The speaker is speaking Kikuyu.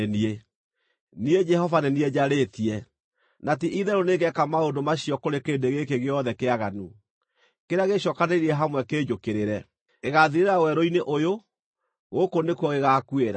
Niĩ Jehova nĩ niĩ njarĩtie, na ti-itherũ nĩngeeka maũndũ macio kũrĩ kĩrĩndĩ gĩkĩ gĩothe kĩaganu, kĩrĩa gĩĩcookanĩrĩirie hamwe kĩnjũkĩrĩre. Gĩgaathirĩra werũ-inĩ ũyũ; gũkũ nĩkuo gĩgaakuĩra.”